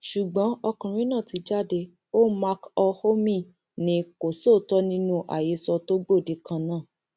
ṣùgbọn ọkùnrin náà ti jáde ó mc olhomme ni kò sóòótọ nínú àhesọ tó gbòde kan náà